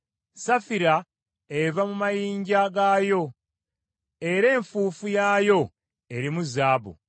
Safira eva mu mayinja gaayo, era enfuufu yaayo erimu zaabu.